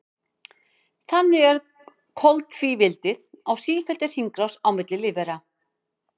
Þannig er koltvíildið á sífelldri hringrás milli lífvera.